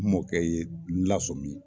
N mɔkɛ ye n lasɔmin